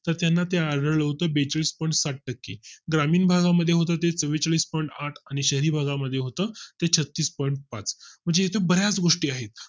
तर त्यांना त्यावेळेस पण बेचाळीस point सहा टक्के ग्रामीण भागा मध्ये होते ते चव्वेचाळीस point आठ त्यावेळेस पण आणि शहरी भागा मध्ये होतं ते छत्तीस ponint पाच म्हणजे बर्याच गोष्टी आहेत